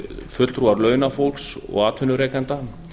fulltrúar launafólks og atvinnurekenda